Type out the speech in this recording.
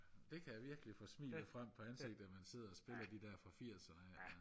det kan virkelig få smilet frem på ansigtet at man sidder og spiller de der spil fra firserne